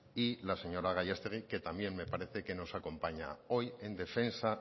y la señora gallastegui que también me parece que nos acompaña hoy en defensa